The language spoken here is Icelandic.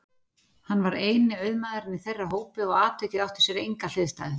Hann var eini auðmaðurinn í þeirra hópi og atvikið átti sér enga hliðstæðu.